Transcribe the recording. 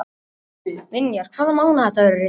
Vinjar, hvaða mánaðardagur er í dag?